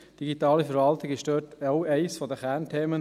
digitale Verwaltung war dabei auch eines der Kernthemen.